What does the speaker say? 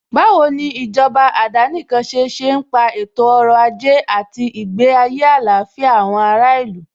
Báwo ni oní ìjọba àdánìkanṣe ṣe ń pa ètò ọrọ̀ ajé àti ìgbé ayé àlàáfíà àwọn ará ìlú?